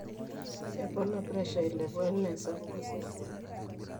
epona pressure ailepu enaa esapuko osesen